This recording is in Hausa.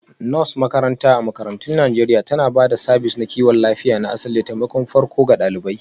Nurse makaranta a makarantun Najeriya tana ba da sabis na kiwon lafiya na asali da taimakon farko ga ɗalibai